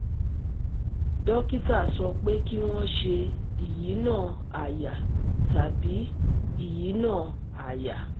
Dókítà sọ pé kí wọ́n ṣe ìyínà àyà tàbí ìyínà àyà